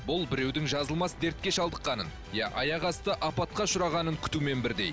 бұл біреудің жазылмас дертке шалдыққанын я аяқ асты апатқа ұшырағанын күтумен бірдей